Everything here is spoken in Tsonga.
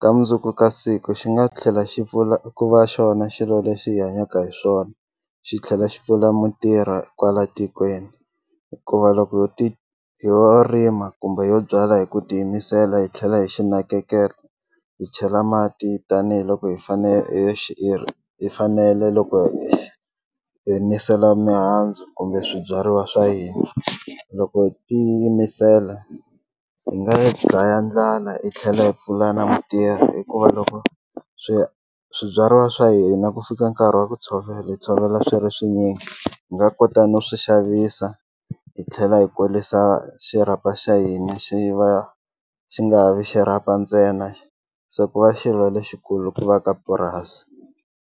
ka mundzuku ka siku xi nga tlhela xi pfuna ku va xona xilo lexi hi hanyaka hi swona xi tlhela xi pfula mintirho kwala tikweni hikuva loko ho ti ho rima kumbe ho byala hi ku tiyimisela hi tlhela hi xi nakekela hi chela mati tanihiloko hi fanele loko nghenisela mihandzu kumbe swibyariwa swa hina loko hi tiyimisela hi nga yi dlaya ndlala hi tlhela hi pfula na mitirho hikuva loko swi swibyariwa swa hina ku fika nkarhi wa ku tshovela hi tshovela swi ri swinyingi hi nga kota no swi xavisa hi tlhela hi kulisa xirhapa xa hina xi va xi nga vi xirhapa ntsena se ku va xilo lexikulu ku va ka purasi.